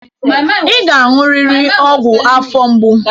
Ị ga-aṅụrịrị ọgwụ afọ mgbu.